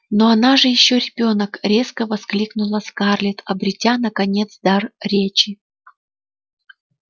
но она же ещё ребёнок резко воскликнула скарлетт обретя наконец дар речи